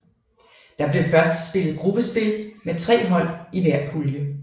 Der blev først spillet gruppespil med tre hold i hver pulje